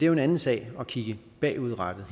jo en anden sag at kigge bagud her